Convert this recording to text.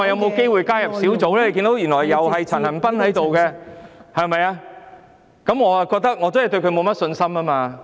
大家皆看到，原來由陳恒鑌議員當主席，我對他真的沒有信心。